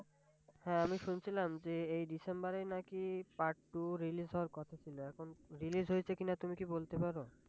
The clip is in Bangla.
হ্যাঁ আমি শুনছিলাম যে এই December এই নাকি Part টু Release হওয়ার কথা ছিল এখন Release হয়েছে কিনা তুমি কি বলতে পার?